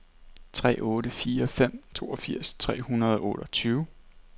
tre otte fire fem toogfirs tre hundrede og otteogtyve